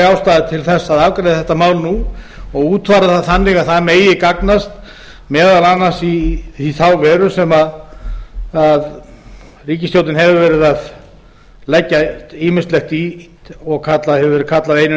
ástæða til að afgreiða þetta mál nú og útfæra það þannig að það megi gagnast meðal annars í þá veru sem ríkisstjórnin hefur verið að leggja ýmislegt í og hefur verið kallað einu